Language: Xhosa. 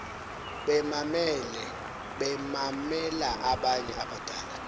bemamela abanye abadala